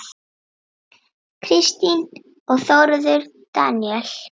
Kristín og Þórður Daníel.